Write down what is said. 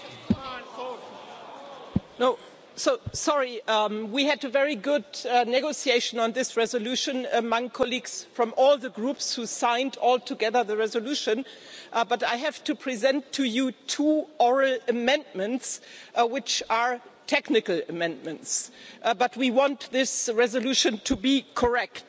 Madam President, we had a very good negotiation on this resolution among colleagues from all the groups who signed all together the resolution but I have to present to you two oral amendments which are technical amendments, but we want this resolution to be correct.